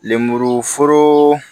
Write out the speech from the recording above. Lemuru foro